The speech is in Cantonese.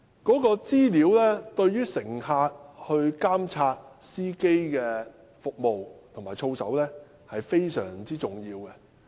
這些資料對於乘客監察司機的服務及操守，非常重要。